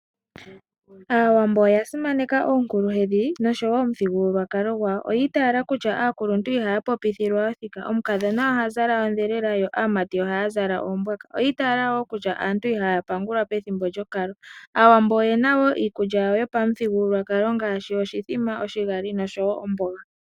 Aawambo oya simaneka oonkuluhedhi noshowo omuthigululwakalo gwawo. Oya itayela kutya aakuluntu iha popithilwa othika. Omukadhona oha zala ondhelela yo aamati ohaya zala oombwaka. Oyi itayela wo kutya aantu ihaya pangulwa pethimbo lyokalo. Aawambo oye na wo iikulya yawo yopamuthigululwakalo ngaashi oshimbombo, oshigali nosho wo omboga.